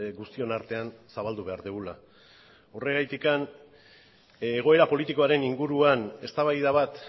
guztion artean zabaldu behar dugula horregatik egoera politikoaren inguruan eztabaida bat